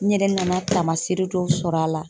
N yɛrɛ nana taamaseere dɔw sɔr'a la